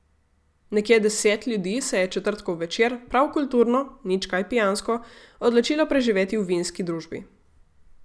Nekje deset ljudi se je četrtkov večer, prav kulturno, nič kaj pijansko, odločilo preživeti v vinski družbi.